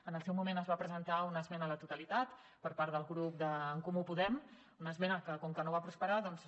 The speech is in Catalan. en el seu moment es va presentar una esmena a la totalitat per part del grup de catalunya en comú podem una esmena que com que no va prosperar doncs